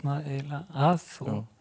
að og